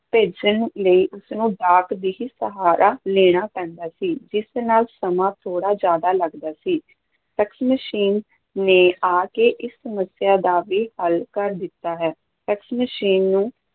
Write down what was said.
ਭੇਜਣ ਲਈ ਉਸਨੂੰ ਡਾਕ ਦਾ ਹੀ ਸਹਾਰਾ ਲੈਣਾ ਪੈਂਦਾ ਸੀ, ਜਿਸ ਨਾਲ ਸਮਾਂ ਥੋੜ੍ਹਾ ਜ਼ਿਆਦਾ ਲੱਗਦਾ ਸੀ, ਫੈਕਸ ਮਸ਼ੀਨ ਨੇ ਆ ਕੇ ਇਸ ਸਮੱਸਿਆ ਦਾ ਵੀ ਹੱਲ ਕਰ ਦਿੱਤਾ ਹੈ, ਫੈਕਸ ਮਸ਼ੀਨ ਨੂੰ